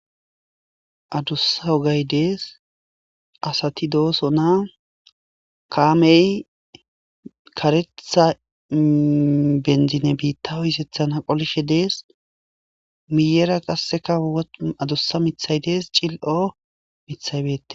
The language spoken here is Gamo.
Addussa oggeyi dessi, assat dosona kammey karetha bitta qolishe dessi assati dossona, miyera adussa mithayi cili'o mithayi dessi.